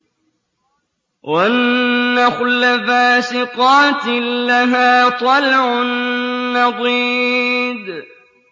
وَالنَّخْلَ بَاسِقَاتٍ لَّهَا طَلْعٌ نَّضِيدٌ